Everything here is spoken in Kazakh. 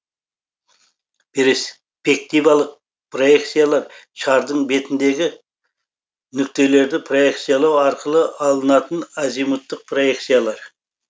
перспективалық проекциялар шардың бетіндегі нүктелерді проекциялау арқылы алынатын азимуттық проекциялар